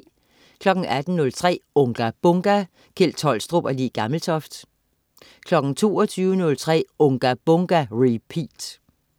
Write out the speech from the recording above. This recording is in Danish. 18.03 Unga Bunga! Kjeld Tolstrup og Le Gammeltoft 22.03 Unga Bunga! Repeat